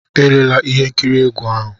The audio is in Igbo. Elela ihe nkiri egwu ahu!